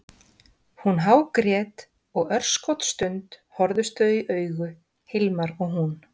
Hún hágrét og örskotsstund horfðust þau í augu, Hilmar og hún.